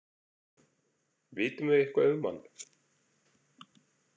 Vitum við eitthvað um hann?